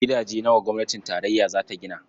Gidaje nawa gwamnatin tarayya za ta gina?